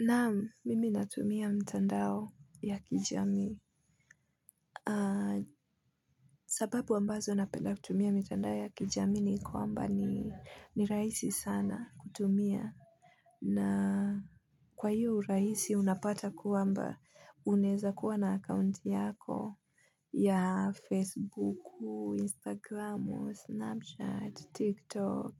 Naam mimi natumia mtandao ya kijamii. Sababu ambazo napenda kutumia mtandao ya kijamii ni kwamba ni raisi sana kutumia. Na kwa hiyo uraisi unapata kwamba unaeza kuwa na account yako ya Facebook, Instagram, Snapchat, TikTok,